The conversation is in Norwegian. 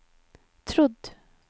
trodd